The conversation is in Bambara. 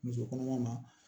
Muso kɔnɔma ma